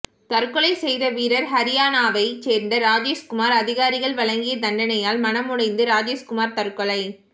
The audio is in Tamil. தற்கொலை செய்த வீரர் ஹரியானாவை சேர்ந்த ராஜேஷ்குமார் அதிகாரிகள் வழங்கிய தண்டனையால் மனமுடைந்து ராஜேஷ்குமார் தற்கொலை